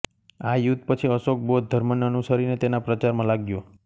આ યુદ્ધ પછી અશોક બૌદ્ધ ધર્મને અનુસરીને તેના પ્રચારમાં લાગ્યો